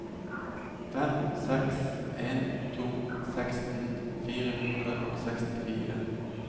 fem seks en to seksten fire hundre og sekstifire